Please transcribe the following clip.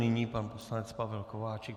Nyní pan poslanec Pavel Kováčik.